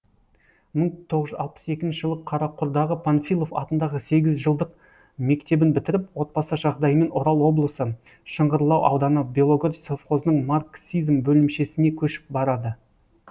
мың тоғыз жүз алпыс екінші жылы қарақұрдағы панфилов атындағы сегізжылдық мектебін бітіріп отбасы жағдайымен орал облысы шыңғырлау ауданы белогор совхозының марксизм бөлімшесіне көшіп барады